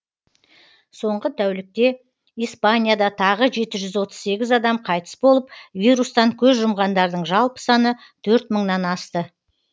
соңғы тәулікте испанияда тағы жеті жүз отыз сегіз адам қайтыс болып вирустан көз жұмғандардың жалпы саны төрт мыңнан асты